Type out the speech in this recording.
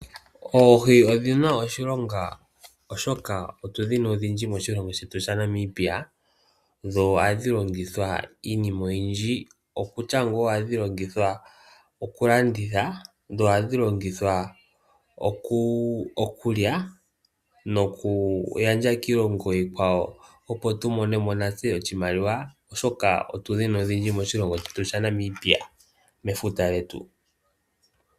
Oohi odhina oshilonga oshoka otu dhina odhindji moshilongo shetu Namibia dho ohadhi longithwa iinima oyindji okutya nga ohadhi vulu oku landithwa, okulya noku gandja kiilongo iikwawo opo tu monemo natse oshimaliwa oshoka otu dhina odhindji moshilongo shetu Namibia, mefuta lyetu.